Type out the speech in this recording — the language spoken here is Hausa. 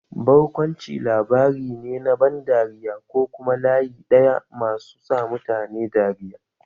Barkwanci labari ne na ban dariya ko kuma layi ɗaya masu sa mutane dariya.